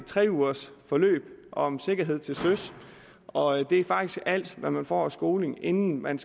tre uger om sikkerhed til søs og det er faktisk alt hvad man får af skoling inden man